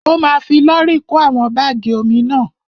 Ó ma fi lọ́rì kó àwọn bágì omi náà.